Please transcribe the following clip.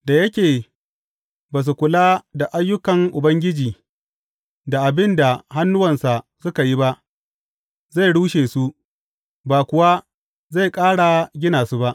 Da yake ba su kula da ayyukan Ubangiji da abin da hannuwansa suka yi ba, zai rushe su ba kuwa zai ƙara gina su ba.